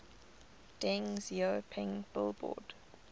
deng xiaoping billboard